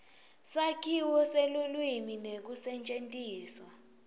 sakhiwo selulwimi nekusetjentiswa